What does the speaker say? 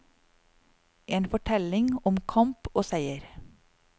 En fortelling om kamp og seier.